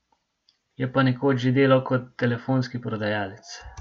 Je pa nekoč že delal kot telefonski prodajalec.